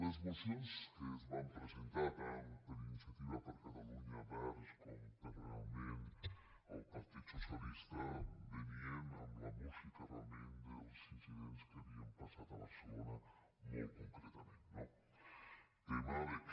les mocions que es van presentar tant per iniciati·va per catalunya verds com pel partit socialista ve·nien amb la música realment dels incidents que ha·vien passat a barcelona molt concretament no tema que